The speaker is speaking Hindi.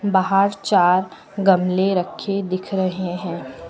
बाहर चार गमले रखे दिख रहे हैं।